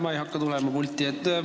Ma ei hakka pulti tulema.